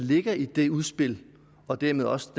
ligger i det udspil og dermed også